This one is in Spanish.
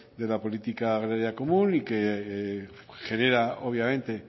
de la política agraria común que genera obviamente